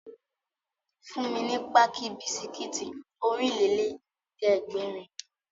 Fún mi ní páàkì bisikítì Ọ̀rìnlélẹ̀ẹ́dẹ́gbèrin!